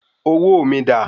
Owó mi dà?